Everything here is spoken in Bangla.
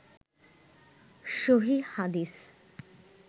সহীহ হাদিস